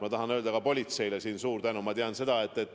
Ma tahan öelda ka politseile suure tänu.